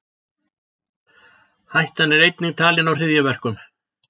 Hætta er einnig talin á hryðjuverkum